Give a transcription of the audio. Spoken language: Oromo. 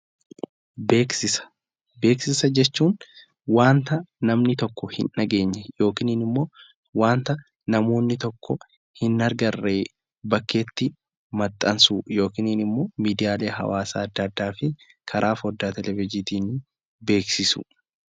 Beeksisa Beeksisa jechuun waanta namni tokko hin dhageenye yookiin immoo waanta namoonni tokko hin agarre bakkeetti maxxansuu yookiin immoo miidiyaalee hawaasaa addaa addaa fi karaa foddaa hojiitiin beeksisuu.